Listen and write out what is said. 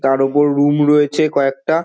তার ওপর রুম রয়েছে কয়েকটা।